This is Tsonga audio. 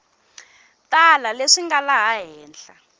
tala leswi nga laha henhla